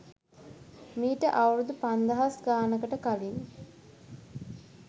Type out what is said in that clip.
මීට අවුරුදු පන්දහස් ගානකට කලින්